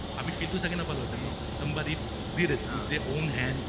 আমি feel টো চাগে নাপালো হেতেন ন? somebody did it their own hands